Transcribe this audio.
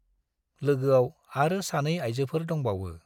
लोगोआव आरो सानै आइजोफोर दंफाबावो ।